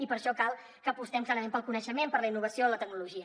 i per això cal que apostem clarament pel coneixement per la innovació i la tecnologia